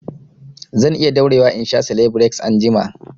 Zan iya daurewa in sha selebireks anjima